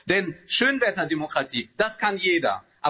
Denn Schönwetterdemokratie das kann jeder.